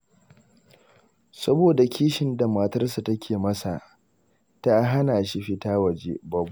Saboda kishin da matarsa take masa, tana hana shi fita waje.